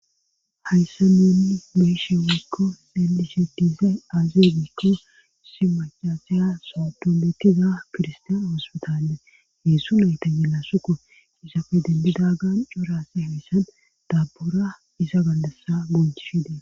hayssa nuunni beeshe wiikko deldishetiza aazeegikko simacaseya sotombetiza kirstaan oospitaalle heessu nayta yelasukko isafe dendida gan cuurasa hoyssan daabbura iza gallassa gonchishidee